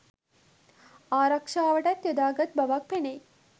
ආරක්‍ෂාවටත් යොදාගත් බවක් පෙනෙයි.